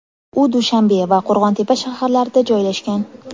U Dushanbe va Qo‘rg‘on-Tepa shaharlarida joylashgan.